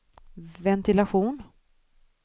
ventilation